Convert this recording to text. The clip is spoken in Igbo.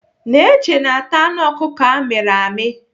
Neche na-ata anụ ọkụkụ amịrị amị.